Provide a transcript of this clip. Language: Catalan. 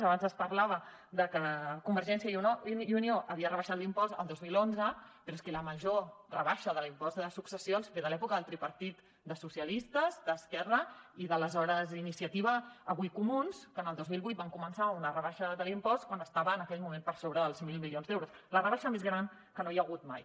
abans es parlava de que convergència i unió havia rebaixat l’impost el dos mil onze però és que la major rebaixa de l’impost de successions ve de l’època del tripartit de socialistes d’esquerra i d’aleshores iniciativa avui comuns que el dos mil vuit van començar una rebaixa de l’impost quan estava en aquell moment per sobre dels mil milions d’euros la rebaixa més gran que hi ha hagut mai